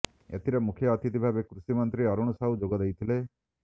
ଏଥିରେ ମୁଖ୍ୟ ଅତିଥି ଭାବେ କୃଷିମନ୍ତ୍ରୀ ଅରୁଣ ସାହୁ ଯୋଗଦେଇଥିଲେ